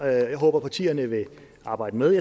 jeg håber at partierne vil arbejde med